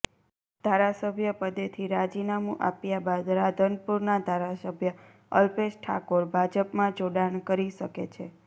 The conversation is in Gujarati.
ધારાસભ્ય પદેથી રાજીનામું આપ્યા બાદ રાધનપુરના ધારાસભ્ય અલ્પેશ ઠાકોર ભાજપમાં જોડાણ કરી શકે છે